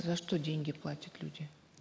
за что деньги платят люди